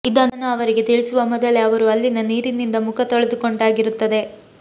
ಇದನ್ನು ಅವರಿಗೆ ತಿಳಿಸುವ ಮೊದಲೇ ಅವರು ಅಲ್ಲಿನ ನೀರಿನಿಂದ ಮುಖ ತೊಳೆದುಕೊಂಡಾಗಿರುತ್ತದೆ